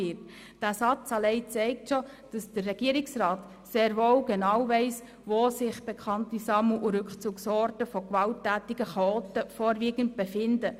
» Dieser Satz allein zeigt, dass der Regierungsrat sehr wohl genau weiss, wo sich bekannte Sammel- und Rückzugsorte von gewalttätigen Chaoten befinden.